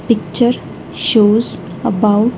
Picture shows about--